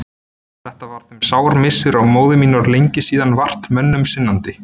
Þetta var þeim sár missir og móðir mín var lengi síðan vart mönnum sinnandi.